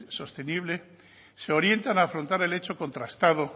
sostenible se orientan a afrontar el hecho contrastado